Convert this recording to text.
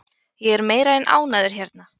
Ég er meira en ánægður hérna.